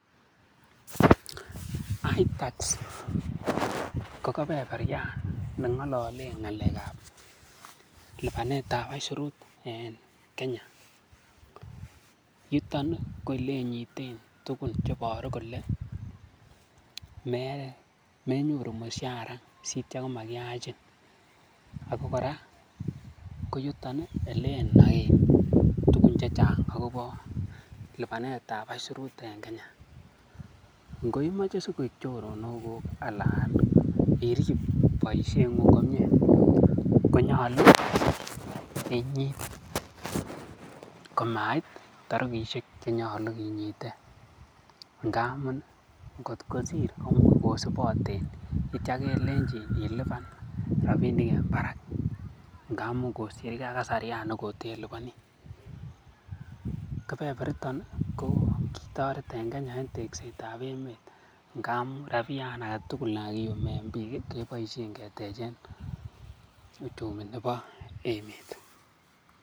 Itax ko kebeberyan ne ng'ololen lipanet ab aisurut en Kenya. Yuton ko ele inyiten tugun che iboru kole menyoru mushara sityo komakiyachin ago kora koyuton ele inoen tugun chechang agobo lipanet ab aisurut en Kenya ngoimoche sikoik choronokuk anan irib boisieng'ung komie konyolu inyit komait torikishe che nyolu kinyite ngamun kotkosir komuch kosiboten kitya kelenchin ilipan rabinik en barak ngamun kosirge ak kasaryan ne koteliponi kebeberiton ko kitoret en Kenya en tekset ab emet ngamun rabiyan age tugul ne kagiyumen biik keboisien ketechen uchumi nebo emet.